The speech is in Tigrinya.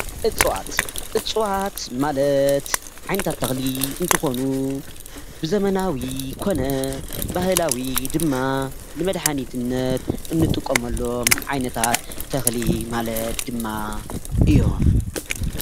እፅዋት :‑እፅዋት ማለት ዓይነታት ተክሊ እንተኮኑ ብዘመናዊ ኮነ ባህላዊ ድማ ንመድሓኒትነት እንጥቀመሉ ዓይነታት ተኽሊ ማለት ድማ እዮም።